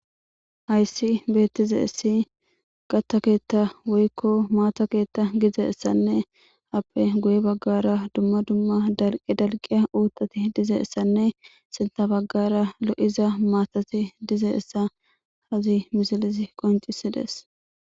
hayssi beettize issi gatta keetta woykko maata keetta gize essanne appe guye baggara dumma dumma dalqi dalqiya uutati dize essanne sinta baggara lo7iza maatati dize essa hazi misilizi qoncisides